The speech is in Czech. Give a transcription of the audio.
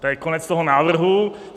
To je konec toho návrhu.